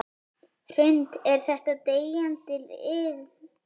Hrund: Er þetta deyjandi iðn?